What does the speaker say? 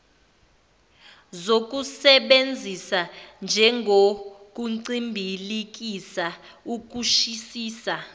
zokusebenzisa njengokuncibilikisa ukushisisa